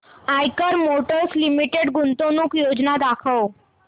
Eicher motors limited गुंतवणूक योजना दाखव